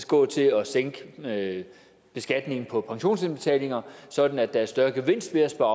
gå til at sænke beskatningen på pensionsindbetalinger sådan at der er større gevinst ved at spare